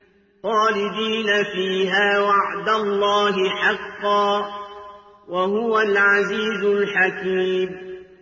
خَالِدِينَ فِيهَا ۖ وَعْدَ اللَّهِ حَقًّا ۚ وَهُوَ الْعَزِيزُ الْحَكِيمُ